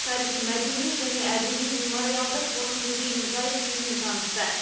тарихи мәдени және әдеби мемориалдық қорық музейінің жай күйімен танысты